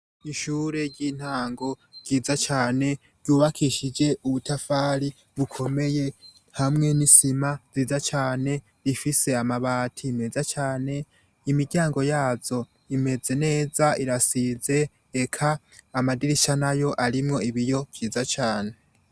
ishure ry'intango ryiza cane ryubakishije ubutafari bukomeye hamwe n'isima nziza cane rifise amabati meza cane imiryango yazo imeze neza irasize eka amadirisha nayo arimwo ibiyo vyiza cane